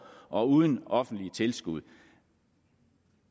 og uden offentlige tilskud